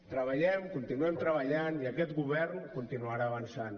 treballem continuem treballant i aquest govern continuarà avançant